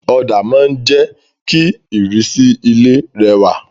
Òdà ma n je ki ìrísí ilé rẹwà